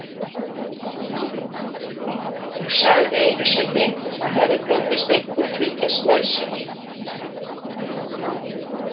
Hún sagði einu sinni að henni fyndist einhver fylgjast með sér.